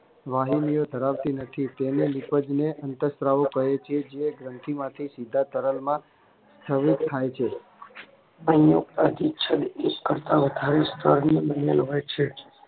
વાહિનીઓ ધરાવતી નથી તેને લીધે અંતઃસ્ત્રાવો જે ગ્રંથીમાંથી સીધા તરલમાં અન્ય અધિચ્છદ એક કરતા વધારે સ્ત્રાવ ની બનેલ હોય છે